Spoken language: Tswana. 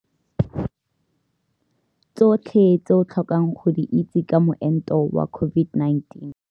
Tsotlhe tse o tlhokang go di itse ka Moento wa COVID-19.